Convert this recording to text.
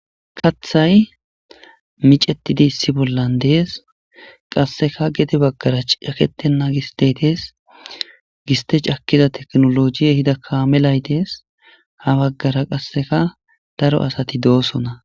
Kaththayi miccetidi issi bolla dees.qasekka gede bagara caketenna gistyeyi dees.giste cakiza tekinolojiyi ehida kamelayi dees .haa bagara qasekka daro asati dosonna .